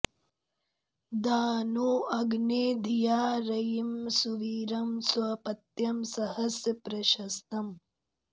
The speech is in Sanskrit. दा नो अग्ने धिया रयिं सुवीरं स्वपत्यं सहस्य प्रशस्तम्